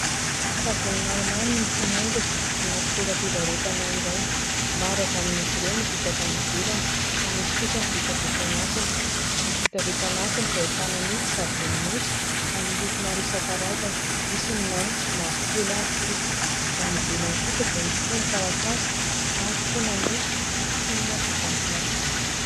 Savony maromaro no mifanaingina anaty toeram-pivarotana iray, maro avy amin'izy ireo no vita avy any ivelany fa misy kosa ny vita avy eto anatiny. Ny vita avy eto anatiny dia ahitana ny savony nosy amin'ny loko maro isankarazany misy ny maitso, mavokely ary fotsy avy any ivelany kosa dia mifono ny taratasy na mifona amin'ny fonina vita plastika.